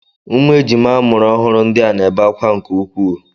Ụmụ ejima amụrụ ọhụrụ ndị a na-ebe akwa nke ukwuu.